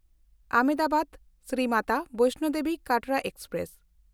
ᱟᱦᱚᱢᱫᱟᱵᱟᱫ–ᱥᱨᱤ Mata ᱵᱮᱭᱥᱱᱚ Devi Katra express